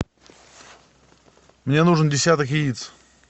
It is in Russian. мне нужен десяток яиц